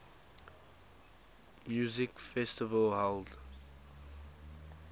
music festival held